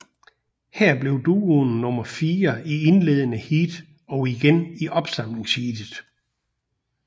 Her blev duoen nummer fire i indledende heat og igen i opsamlingsheatet